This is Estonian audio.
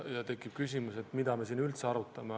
Ja tekib küsimus, mida me siin üldse arutame.